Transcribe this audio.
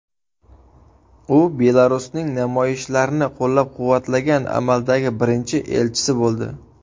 U Belarusning namoyishlarni qo‘llab-quvvatlagan amaldagi birinchi elchisi bo‘ldi.